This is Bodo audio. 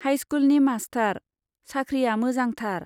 हाइस्कुलनि मास्टार, साख्रिया मोजांथार।